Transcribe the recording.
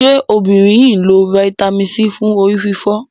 ṣe obìnrin yí nlọ Vitamin C fún orí-fífọ́?